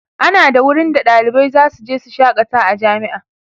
ana da wurin da ɗalibai zasu je su shakata a jami'a